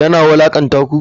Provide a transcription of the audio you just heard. Yana wulakanta ku?